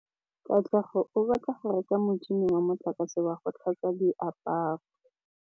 Katlego o batla go reka motšhine wa motlakase wa go tlhatswa diaparo.